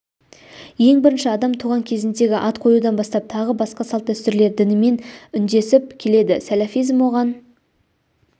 ең бірінші адам туған кезіндегі ат қоюдан бастап тағы басқа салт-дәстүрлер дінмен үндесіп келеді сәләфизм оған